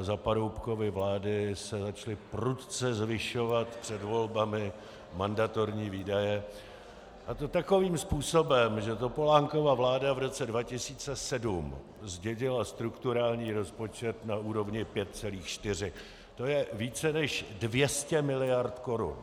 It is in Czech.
za Paroubkovy vlády se začaly prudce zvyšovat před volbami mandatorní výdaje, a to takovým způsobem, že Topolánkova vláda v roce 2007 zdědila strukturální rozpočet na úrovni 5,4, to je více než 200 miliard korun.